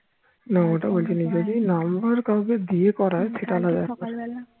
না ওটা বলছি না বলছি যদি number কাউকে দিয়ে করায় সেটা আলাদা ব্যাপার